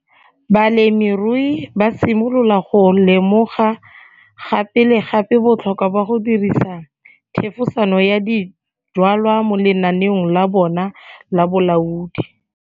Balemirui ba simolola go lemoga gape le gape botlhokwa ba go dirisa thefosano ya dijwalwa mo lenaneong la bona la bolaodi.